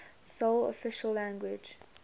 sole official language